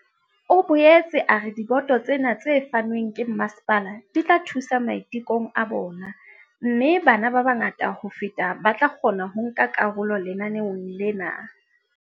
O boetse a re diboto tsena tse fanweng ke masepala di tla thusa maitekong a bona mme ke bana ba bangata ho feta ba tla kgona ho nka karolo lenaneong lena.